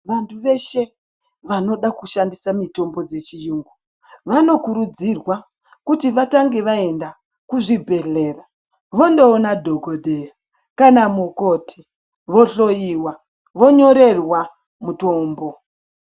Vantu veshe vanoda kushandisa mitombo dzechiyungu vanokurudzirwa kuti vatange vaenda kuzvibhedhlera vondoona dhokodheya kana mukoti vohloiwa vonyorerwa mutombo.